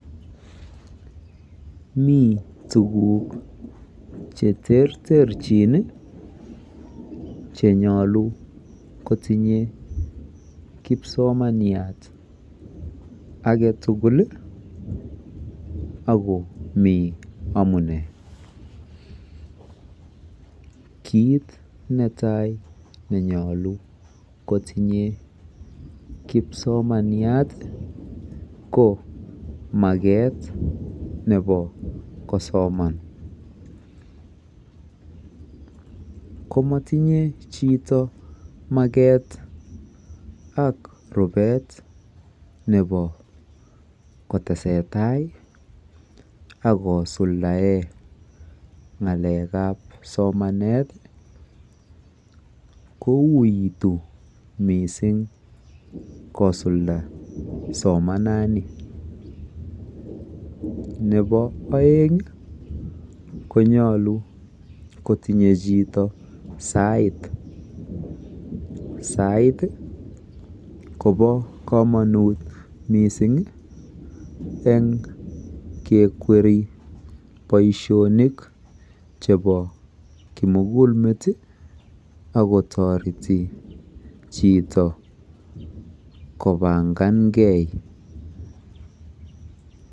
Mi tuguk cheterterchin chenyolu kotinye kipsomaniat age tugul ako mi amune. Kiit netai nenyolu kotinye kipsomaniat ko maket nebo kosoman. Komatinye chito maket ak rubet nebo kotesetai ako kosuldae ng'alekeb somanet kouitu mising kosulda somanani. Nebo oeng konyolu kotinye chito saait. Sait kobo komonut mising eng kekweri boisionik chebo kimugulmet akotoreti chito kopangangei.